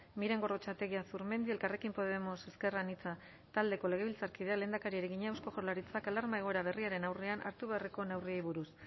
miren gorrotxategi azurmendi elkarrekin podemos ezker anitza taldeko legebiltzarkideak lehendakariari egina eusko jaurlaritzak alarma egoera berriaren aurrean hartu beharreko neurriei buruz